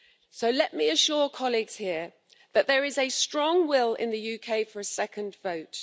So let me assure colleagues here that there is a strong will in the UK for a second vote.